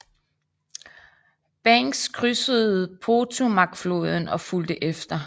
Banks krydsede Potomacfloden og fulgte efter